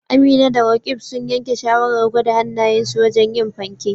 Amina da Roqeeb sun yanke shawarar gwada hannayensu wajen yin fanke